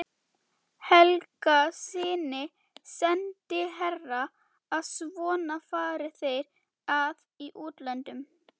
Helgasyni sendiherra að svona fari þeir að í útlöndum.